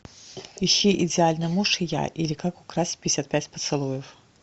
ищи идеальный муж и я или как украсть пятьдесят пять поцелуев